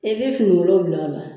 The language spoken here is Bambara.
E bɛ finikolon bil'a la